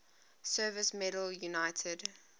service medal united